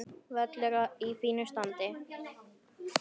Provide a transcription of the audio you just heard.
Völlur í fínu standi.